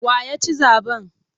Wa ya ci zaɓen?